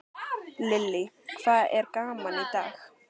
Lillý: Hvað er gaman í dag?